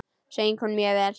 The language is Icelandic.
Söng hún mjög vel.